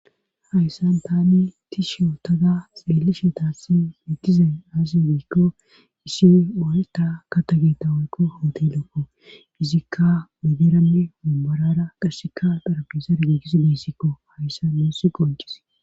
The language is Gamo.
Hayssan tani ti she otoda seele shetaasi mittizay aasi giikko issi mooleta ka tageta woykko howti lokko izikka muderanne umborara qasseka xarabisa rgeegis deyssikko hayssa moussi qoncis.